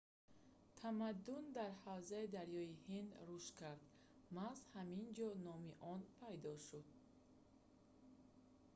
тамаддун дар ҳавзаи дарёи ҳинд рушд кард маҳз аз ҳаминҷо номи он пайдо шуд